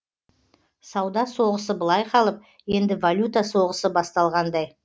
сауда соғысы былай қалып енді валюта соғысы басталғандай